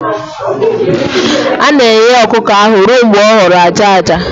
A na-eghe ọkụkọ ahụ ruo mgbe ọ ghọrọ aja aja